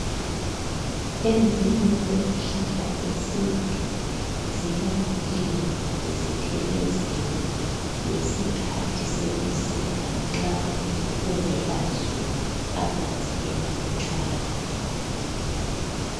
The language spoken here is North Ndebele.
Ezinye zezihlahla zesintu ziyalinywa zithelezelwe ngesikhathi sebusika nxa kungela zulu, amanzi emalutshwana.